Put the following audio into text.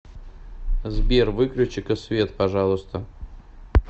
сбер выключи ка свет пожалуйста